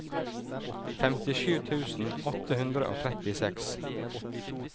femtisju tusen åtte hundre og trettiseks